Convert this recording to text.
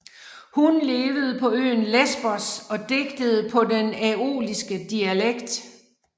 Hun levede på øen Lesbos og digtede på den æoliske dialekt